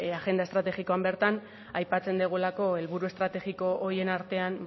agenda estrategikoan bertan aipatzen dugulako helburu estrategiko horien artean